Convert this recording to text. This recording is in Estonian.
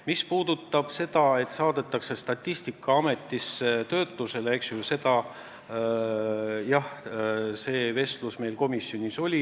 Mis puudutab seda, et eelarve saadetakse Statistikaametisse töötlusesse, siis jah, selleteemaline vestlus meil komisjonis oli.